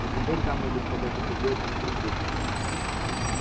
а теперь дамы и господа я хочу сделать вам сюрприз